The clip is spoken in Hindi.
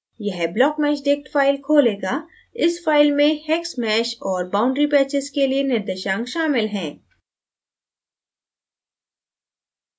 यह blockmeshdict फाइल खोलेगा इस फाइल में hex mesh और boundary patches के लिए निर्देशांक शामिल है